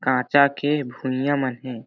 काचा के भुईया मन हे।